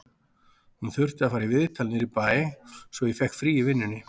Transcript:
Hún þurfti að fara í viðtal niður í bæ, svo ég fékk frí í vinnunni